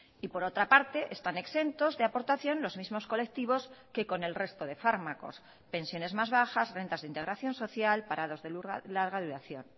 y por otra parte están exentos de aportación los mismos colectivos que con el resto de fármacos pensiones más bajas rentas de integración social parados de larga duración